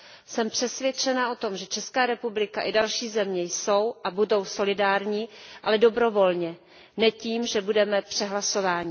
Jsem přesvědčena o tom, že Česká republika i další země jsou a budou solidární, ale dobrovolně, ne tím, že budeme přehlasováni.